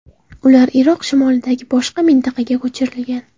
Ular Iroq shimolidagi boshqa mintaqaga ko‘chirilgan.